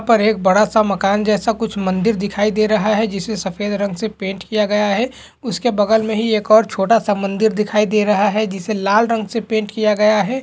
ऊपर एक बड़ा सा मकान जैसा कुछ मंदिर दिखाई दे रहा है जिसे सफेद रंग से पेंट किया गया है उसके बगल में हीं एक छोटा सा मंदिर दिखाई दे रहा है जिसे लाल रंग से पेंट किया गया है।